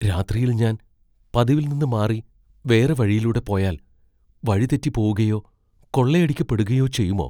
രാത്രിയിൽ ഞാൻ പതിവിൽ നിന്ന് മാറി വേറെ വഴിയിലൂടെ പോയാൽ വഴിതെറ്റിപ്പോവുകയോ, കൊള്ളയടിക്കപ്പെടുകയോ ചെയ്യുമോ?